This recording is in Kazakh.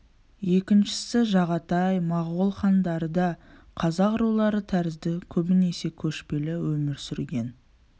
екіншісі жағатай моғол хандары да қазақ рулары тәрізді көбінесе көшпелі өмір сүрген